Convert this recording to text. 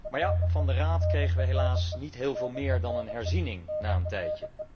Maar ja, van de Raad kregen wij helaas niet veel meer dan een herziening na een tijd.